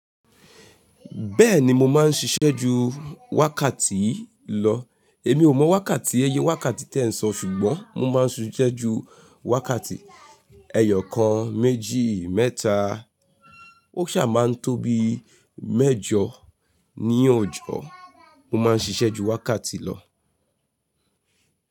Bẹ́ẹ̀ni mo máa ń ṣiṣẹ́ ju wákàtí lọ. Èmi ò mọ wákàtí, ẹyẹ wákàtí tí ẹ ń sọ ṣùgbọ́n mo máa ń ṣiṣẹ́ ju wákàtí, ẹyọ kan, méjì, mẹ́ta. Ó ṣà máa ń tó bí mẹ́jọ ní òjọ̀. Mo máa ń ṣiṣẹ́ ju wákàtí lọ.